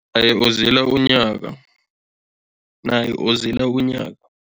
Uzila unyaka, naye uzila unyaka.